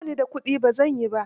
Ba ni da kuɗi, ba zan yi ba.